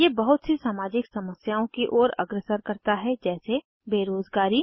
ये बहुत सी सामाजिक समस्याओं की ओर अग्रसर करता है जैसे बेरोज़गारी